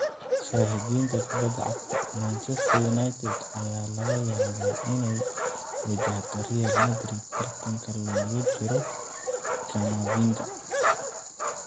(Shahidinta kubada cagta) Manchester United ayaa laga yaabaa inay wajahdo Real Madrid tartanka loogu jiro Camavinga.